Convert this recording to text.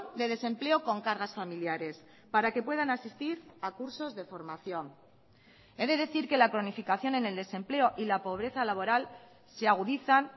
de desempleo con cargas familiares para que puedan asistir a cursos de formación he de decir que la cronificación en el desempleo y la pobreza laboral se agudizan